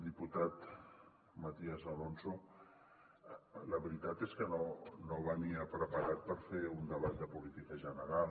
diputat matías alonso la veritat és que no venia preparat per fer un debat de política general